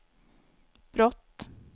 brott